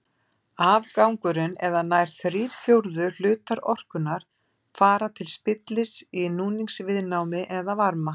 Afgangurinn eða nær þrír fjórðu hlutar orkunnar fara til spillis í núningsviðnámi eða varma.